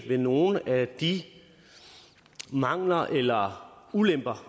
ved nogle af de mangler eller ulemper